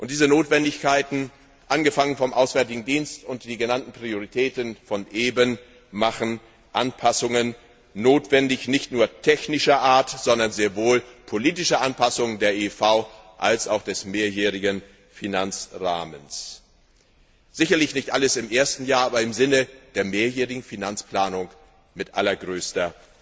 Und diese Notwendigkeiten, angefangen mit dem Auswärtigen Dienst, und die genannten Prioritäten von eben machen Anpassungen notwendig, nicht nur technischer Art, sondern sehr wohl auch politische Anpassung der IIV als auch des mehrjährigen Finanzrahmens, sicherlich nicht alles im ersten Jahr, aber im Sinne der mehrjährigen Finanzplanung mit allergrößter